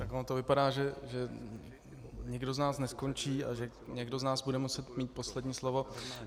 Tak ono to vypadá, že nikdo z nás neskončí a že někdo z nás bude muset mít poslední slovo.